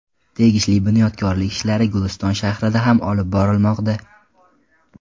Tegishli bunyodkorlik ishlari Guliston shahrida ham olib borilmoqda.